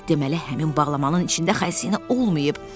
Deməli həmin bağlamanın içində xəzinə olmayıb.